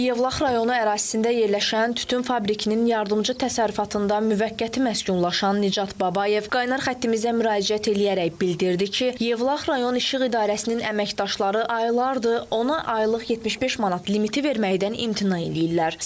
Yevlax rayonu ərazisində yerləşən Tütün fabrikinin yardımçı təsərrüfatında müvəqqəti məskunlaşan Nicat Babayev qaynar xəttimizə müraciət eləyərək bildirdi ki, Yevlax rayon İşıq İdarəsinin əməkdaşları aylardır ona aylıq 75 manat limiti verməkdən imtina eləyirlər.